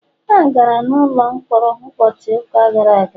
ha gara n’ụlọ mkpọrọ ụbọchị ụka gara aga